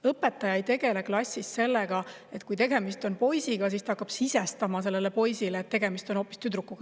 Õpetaja ei tegele klassis sellega, et hakkab sisestama poisile, et tegemist on hoopis tüdrukuga.